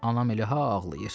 Anam elə ha ağlayır.